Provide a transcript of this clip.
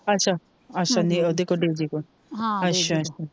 ਅੱਛਾ ਓਦੇ ਕੋਂ ਡੀਜੇ ਕੋਂਲ ਅੱਛਾ ਹਾਂ ਡੀਜੇ ਕੋਂਲ,